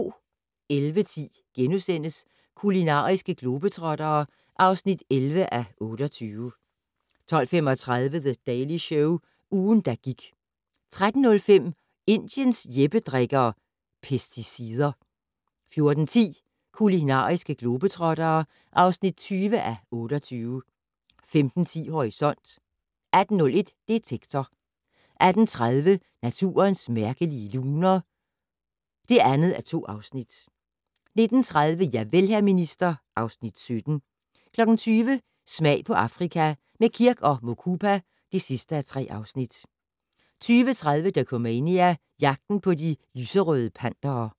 11:10: Kulinariske globetrottere (11:28)* 12:35: The Daily Show - ugen, der gik 13:05: Indiens Jeppe drikker - pesticider 14:10: Kulinariske globetrottere (20:28) 15:10: Horisont 18:01: Detektor 18:30: Naturens mærkelige luner (2:2) 19:30: Javel, hr. minister (Afs. 17) 20:00: Smag på Afrika - med Kirk & Mukupa (3:3) 20:30: Dokumania: Jagten på de Lyserøde Pantere